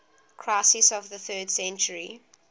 crisis of the third century